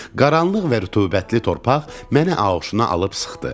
Qaranlıq və rütubətli torpaq məni ağuşuna alıb sıxdı.